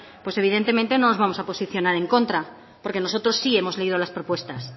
pues evidentemente no nos vamos a posicionar en contra porque nosotros sí hemos leído las propuestas